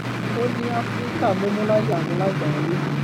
ó ní àfíríkà mumu laya awon lágbàáyé